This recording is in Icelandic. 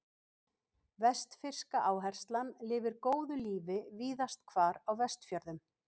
Vestfirska áherslan lifir góðu lífi víðast hvar á Vestfjörðum.